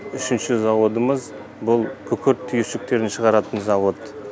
үшінші заводымыз бұл күкірт түйіршіктерін шығаратын завод